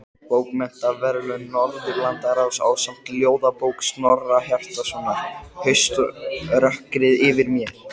Bókmenntaverðlauna Norðurlandaráðs ásamt ljóðabók Snorra Hjartarsonar, Hauströkkrið yfir mér.